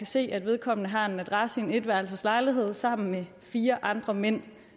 se at vedkommende har en adresse i en etværelses lejlighed sammen med fire andre mænd